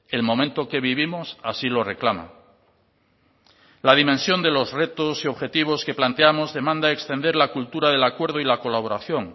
el momento que vivimos así lo reclama la dimensión de los retos y objetivos que planteamos demanda extender la cultura del acuerdo y la colaboración